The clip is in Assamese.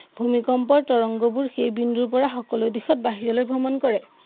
ভূমিকম্পৰ তৰঙ্গবোৰ সেইবিন্দুৰ পৰা সকলো দিশত বাহিৰলৈ ভ্ৰমণ কৰে।